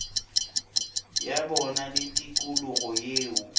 ya bona le tikologo yeo